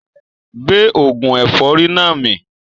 Gbé oògùn ẹ̀fọ́rì náà mì